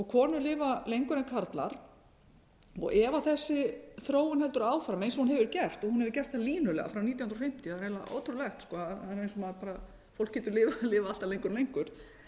konur lifa lengur en karlar ef þessi þróun heldur áfram einnig hún hefur gert hún hefur gert það línulega frá nítján hundruð fimmtíu það er eiginlega ótrúlegt það er eins og maður bara fólk getur lifað alltaf lengur og lengur